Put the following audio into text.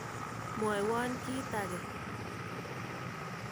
Mwaiwon kit ake.